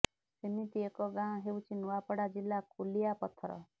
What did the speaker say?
ସେମିତି ଏକ ଗାଁ ହେଉଛି ନୂଆପଡ଼ା ଜିଲ୍ଲା କୁଲିଆ ପଥର